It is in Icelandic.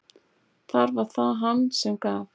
Þar var það hann sem gaf.